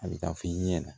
A bɛ taa f'i ɲɛna